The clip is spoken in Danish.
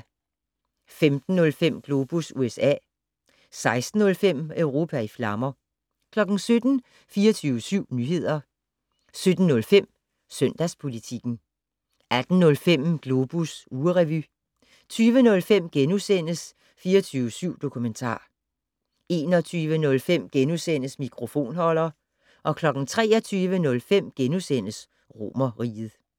15:05: Globus USA 16:05: Europa i flammer 17:00: 24syv Nyheder 17:05: Søndagspolitikken 18:05: Globus ugerevy 20:05: 24syv Dokumentar * 21:05: Mikrofonholder * 23:05: Romerriget *